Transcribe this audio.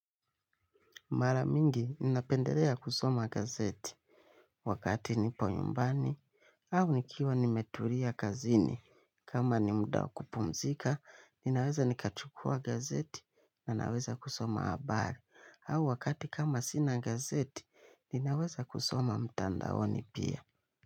Mara mingi inapendelea kusoma gazeti wakati nipo nyumbani au nikiwa nimetulia kazini. Kama ni muda wa kupumzika, ninaweza kuchukua gazeti na naweza kusoma habari. Au wakati kama sina gazeti, ninaweza kusoma mtandaoni pia.